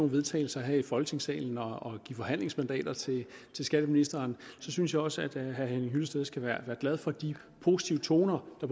vedtagelser her i folketingssalen og give forhandlingsmandater til skatteministeren synes jeg også at herre henning hyllested skal være glad for de positive toner der